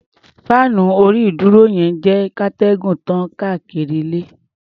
Fáànù orí-ìdúró yẹn ń jẹ́ kíatẹ́gùn tàn káàkiri ilé.